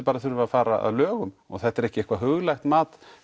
bara þurfa að fara að lögum og þetta er ekki eitthvað huglægt mat